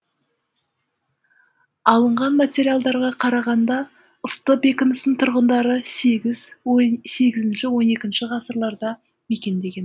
алынған материалдарға қарағанда ысты бекінісін тұрғындары сегізінші он екінші ғасырларда мекендеген